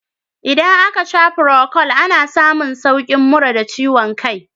Idan aka sha furokol, ana samun saukin mura da ciwon kai.